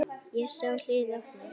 Ég sá hliðið opnast.